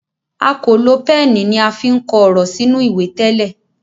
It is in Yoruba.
a kò lo Pẹ́ẹ̀nì ní a fín kọ òrò sínú ìwé tẹlẹ